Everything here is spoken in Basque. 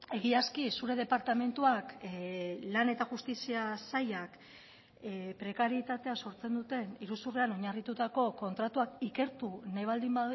egiazki zure departamentuak lan eta justizia sailak prekarietatea sortzen duten iruzurrean oinarritutako kontratuak ikertu nahi baldin